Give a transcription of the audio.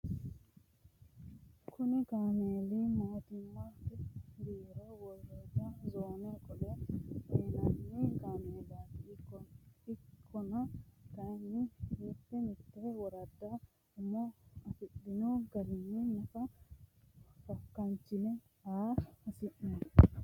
Kuni kaameeli mootimmate bisara woradda zoonna qolle uuyinanni kaameellati ikkonna kayinni mite mite woraddara umo afirinoha gariha nafa fakachine aa hasiisano.